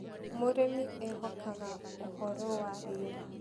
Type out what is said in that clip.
Mũrĩmi ehokaga ũhoro wa rĩera